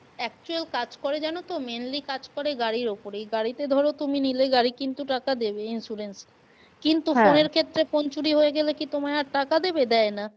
Actual কাজ করে জানো তো mainly কাজ করে গাড়ির ওপরেই গাড়িতে ধরো তুমি নিলে গাড়ি কিন্তু টাকা দেবে insurance এ কিন্তু ক্ষেত্রে phone চুরি হয়ে গেলে কি তোমায় আর টাকা দেবে দেয় না।